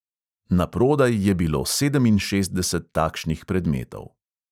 Na prodaj je bilo sedeminšestdeset takšnih predmetov.